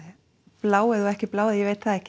bláeygð og ekki bláeygð ég veit það ekki